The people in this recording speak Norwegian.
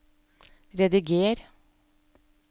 rediger